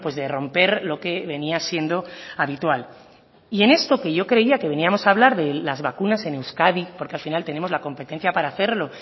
de romper lo que venía siendo habitual y en esto que yo creía que veníamos a hablar de las vacunas en euskadi porque al final tenemos la competencia para hacerlo